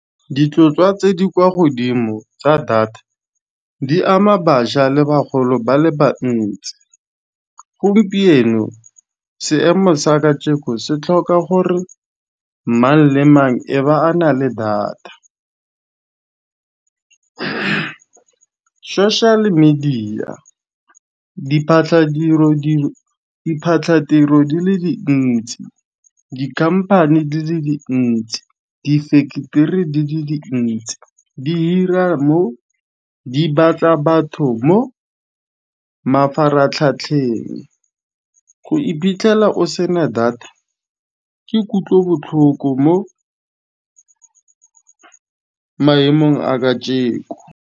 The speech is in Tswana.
Ditlhotlhwa tse di kwa godimo tsa data di ama baja le bagolo ba le bantsi. Gompieno seemo sa kajeko se tlhoka gore mang le mang e ba a na le data. Social media diphatlhatiro di le dintsi dikhamphane di le dintsi difensetere di le dintsi di hira mo di batla batho mo mafaratlhatlheng. Go iphitlhela o sena data ke kutlobotlhoko mo maemong a kajeko.